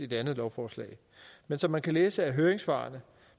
det andet lovforslag men som man kan læse af høringssvarene